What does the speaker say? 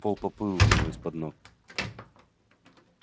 пол поплыл у него из-под ног